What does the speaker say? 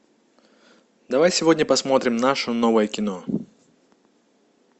давай сегодня посмотрим наше новое кино